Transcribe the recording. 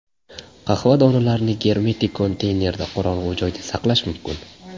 Qahva donalarini germetik konteynerda qorong‘u joyda saqlash mumkin.